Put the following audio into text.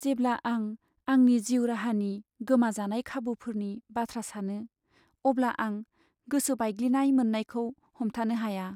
जेब्ला आं आंनि जिउ राहानि गोमाजानाय खाबुफोरनि बाथ्रा सानो अब्ला आं गोसो बायग्लिनाय मोन्नायखौ हमथानो हाया।